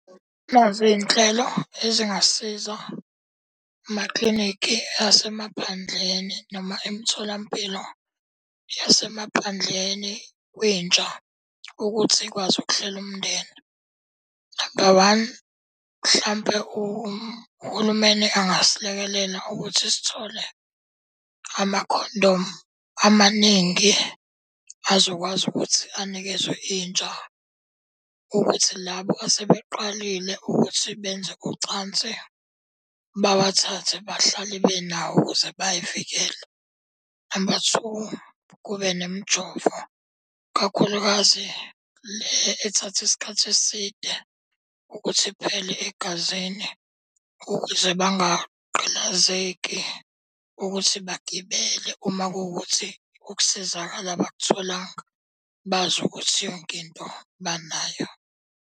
Nazi iy'nhlelo ezingasiza amaklinikhi asemaphandleni noma emtholampilo yasemaphandleni kwintsha ukuthi ikwazi ukuhlela umndeni. Namba one, mhlampe uhulumeni angasilekelela ukuthi sithole amakhondomu amaningi azokwazi ukuthi anikezwe intsha. Ukuthi labo asebeqalile ukuthi benze ucansi, bawathathe bahlale benawe ukuze bay'vikele. Namba two, kube nemijovo kakhulukazi le ethatha isikhathi eside ukuthi iphele egazini ukuze bangagqilazeki ukuthi bagibele. Uma kuwukuthi ukusizakala abakutholanga, bazi ukuthi yonke into banayo.